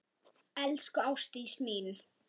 Elsku Ástdís mín.